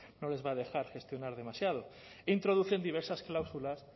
no les va a dejar gestionar demasiado introducen diversas cláusulas